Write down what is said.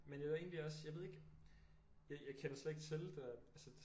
Men jeg vil egentlig også jeg ved ikke jeg kender slet ikke til det der